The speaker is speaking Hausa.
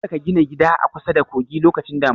Kada ka gina gida a kusada kogi lokacin damuna!